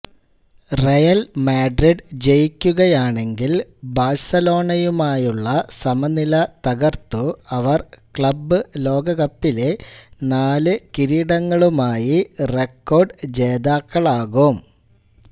Real Madrid ജയിക്കുകയാണെങ്കിൽ ബാഴ്സലോണയുമായുള്ള സമനില തകർത്തു അവർ ക്ലബ്ബ് ലോകകപ്പിലെ നാല് കിരീടങ്ങളുമായി റെക്കോർഡ് ജേതാക്കളാകും